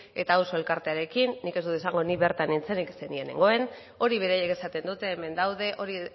eta auzo elkartearekin nik ez dut esango nik bertan nintzenik zeren ni ez zegoen horiek beraiek esaten dute hemen daude hori